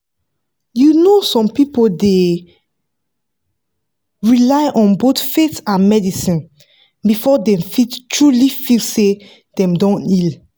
you know some people dey rely on both faith and medicine before dem fit truly feel say dem don heal."